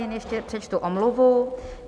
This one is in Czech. Jen ještě přečtu omluvu.